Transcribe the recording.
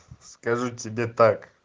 скажу тебе так